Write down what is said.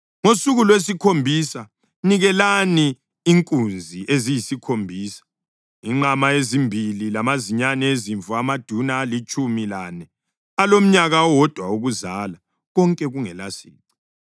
Ngosuku lwesikhombisa nikelani inkunzi eziyikhombisa, inqama ezimbili lamazinyane ezimvu amaduna alitshumi lane alomnyaka owodwa wokuzalwa, konke kungelasici.